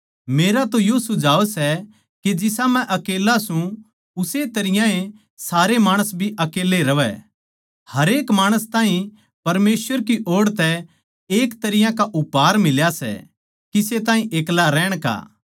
मेरा तो यो सुझाव सै के जिसा मै अकेल्ला सूं उस्से तरियां ए सारे माणस भी अकेल्ले रहै हरेक माणस ताहीं परमेसवर की ओड़ तै एक तरियां का उपहार मिला सै किसे ताहीं ब्याह की अर किसे ताहीं एकला रहण की